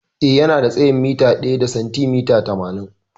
Eh, Yana da tsayin mita ɗaya da sentimita tamanin.